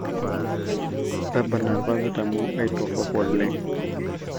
tabarna irpapit amuu ketor oleng